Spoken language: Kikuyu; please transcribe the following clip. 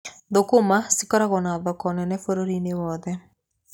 Thũkũma cikoragwo na thoko nene bũrũri-inĩ wothe.